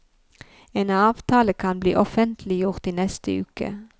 En avtale kan bli offentliggjort i neste uke.